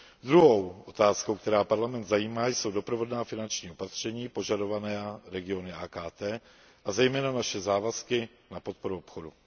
Druhou otázkou, která Parlament zajímá, jsou doprovodná finanční opatření požadovaná regiony AKT, a zejména naše závazky na podporu obchodu.